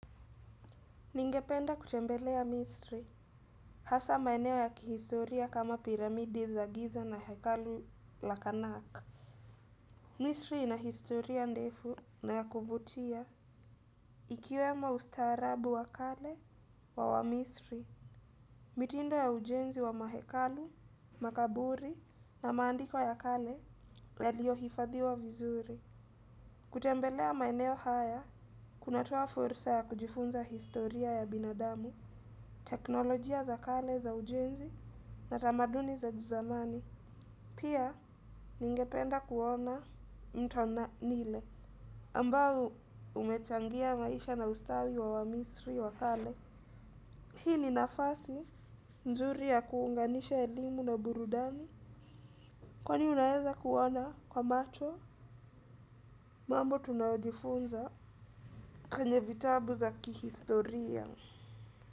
Ningependa kutembelea Misri, hasaa maeneo ya kihistoria kama piramidi za giza na hekalu la karnak. Misri ina historia ndefu na ya kuvutia. Ikiwemo ustaarabu wa kale wa wamisri, mitindo ya ujenzi wa mahekalu, makaburi na maandiko ya kale yaliyohifadhiwa vizuri. Kutembelea maeneo haya, kunatoa fursa ya kujifunza historia ya binadamu. Teknolojia za kale za ujenzi na tamaduni za kizamani pia ningependa kuona mto nile ambao umechangia maisha na ustawi wa wamisri wa kale. Hii ni nafasi mzuri ya kuunganisha elimu na burudani kwani unaweza kuona kwa macho mambo tunaojifunza kwenye vitabu za kihistoria.